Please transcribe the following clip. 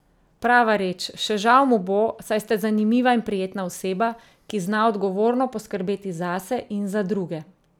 Prava reč, še žal mu bo, saj ste zanimiva in prijetna oseba, ki zna odgovorno poskrbeti zase in za druge.